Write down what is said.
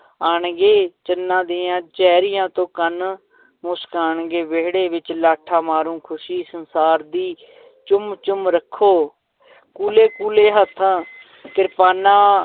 ਆਉਣਗੇ ਜਿੰਨਾਂ ਦੀਆਂ ਚੈਰੀਆਂ ਤੋਂ ਕੰਨ ਮੁਸ਼ਕਾਉਣਗੇ, ਵਿਹੜੇ ਵਿੱਚ ਲਾਠਾਂ ਮਾਰੂ ਖ਼ੁਸ਼ੀ ਸੰਸਾਰ ਦੀ ਚੁੰਮ ਚੁੰਮ ਰੱਖੋ ਕੂਲੇ ਕੂਲੇ ਹੱਥਾਂ ਕਿਰਪਾਨਾਂ